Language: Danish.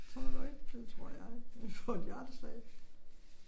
Tror du ikke? Det tror jeg. Ville få et hjerteslag